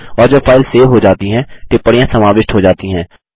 और जब file save हो जाती है टिप्पणियाँ समाविष्ट हो जाती हैं